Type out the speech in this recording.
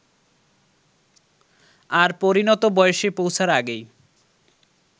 আর পরিণত বয়সে পৌছার আগেই